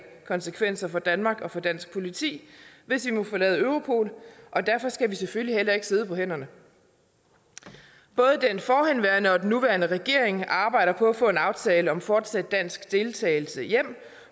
konsekvenser for danmark og for dansk politi hvis vi må forlade europol og derfor skal vi selvfølgelig heller ikke sidde på hænderne både den forhenværende og den nuværende regering arbejder på at få en aftale om fortsat dansk deltagelse hjem